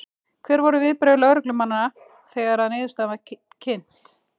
Hver voru viðbrögð lögreglumanna þegar að niðurstaðan var kynnt?